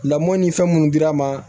Lamɔ ni fɛn minnu dira an ma